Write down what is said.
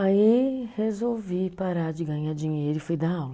Aí resolvi parar de ganhar dinheiro e fui dar aula.